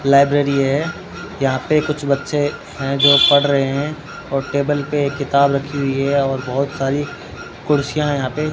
library है यहां पे कुछ बच्चे हैं जो पढ़ रहे हैं और टेबल पे किताब रखी हुई है और बहोत सारी कुर्सियां है यहां पे --